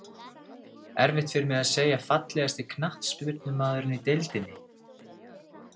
Erfitt fyrir mig að segja Fallegasti knattspyrnumaðurinn í deildinni?